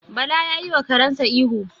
Bala ya yiwa karensa ihu.